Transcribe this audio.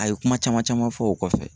A ye kuma caman caman fɔ o kɔfɛ.